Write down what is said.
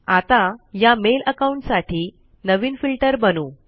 आता या mail account साठी नवीन फिल्टर बनवू